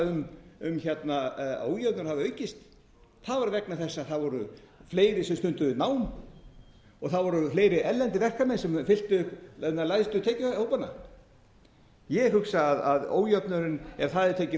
um að ójöfnuður hafi aukist það var vegna þess að það voru fleiri sem stunduðu nám og það voru fleiri erlendir verkamenn sem fylltu lægstu tekjuhópana ég hugsa að ójöfnuðurinn ef það er tekið